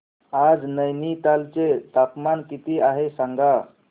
आज नैनीताल चे तापमान किती आहे सांगा